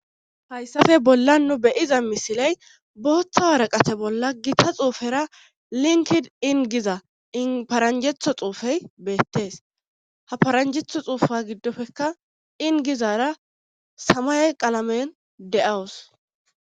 hayssafe bolla nu beyiza misiley booththa waraqate bolla gita xuufera linkid ingiza inparanjetho xuufey beettees ha paranjetho xuufa giddofekka ingizara samay qalamen de7awus